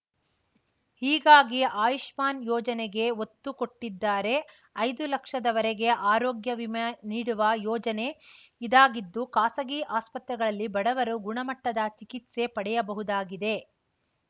ಹೀಗಾಗಿ ಆಯುಷ್ಮಾನ್‌ ಯೋಜನೆಗೆ ಒತ್ತು ಕೊಟ್ಟಿದ್ದಾರೆ ಐದು ಲಕ್ಷದ ವರೆಗೆ ಆರೋಗ್ಯ ವಿಮೆ ನೀಡುವ ಯೋಜನೆ ಇದಾಗಿದ್ದು ಖಾಸಗಿ ಆಸ್ಪತ್ರೆಗಳಲ್ಲಿ ಬಡವರು ಗುಣಮಟ್ಟದ ಚಿಕಿತ್ಸೆ ಪಡೆಯಬಹುದಾಗಿದೆ